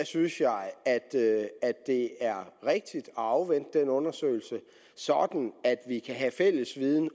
synes jeg det er rigtigt at afvente den undersøgelse sådan at vi kan have fælles viden